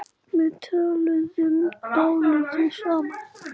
Við töluðum dálítið saman.